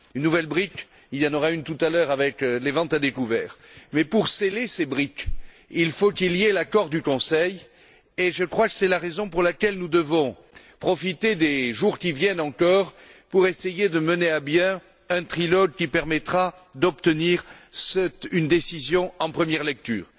Une nouvelle brique, il y en aura une autre tout à l'heure, avec les ventes à découvert. Mais pour sceller ces briques, il faut qu'il y ait accord du Conseil et je crois que c'est la raison pour laquelle nous devons encore profiter des jours qui viennent pour essayer de mener à bien un trilogue qui permettra d'obtenir une décision en première lecture.